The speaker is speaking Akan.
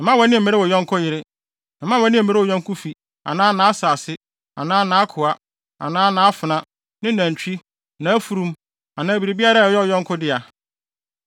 Mma wʼani mmere wo yɔnko yere. Mma wʼani mmere wo yɔnko fi anaa nʼasase anaa nʼakoa anaa nʼafenaa, ne nʼanantwi, nʼafurum anaa biribiara a ɛyɛ wo yɔnko dea.”